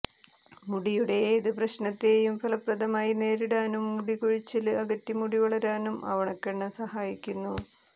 മുടിയുടെ ഏത് പ്രശ്നത്തേയും ഫലപ്രദമായി നേരിടാനും മുടി കൊഴിച്ചില് അകറ്റി മുടി വളരാനും ആവണക്കെണ്ണ സഹായിക്കുന്നു